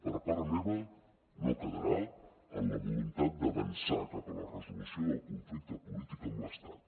per part meva no quedarà en la voluntat d’avançar cap a la resolució del conflicte polític amb l’estat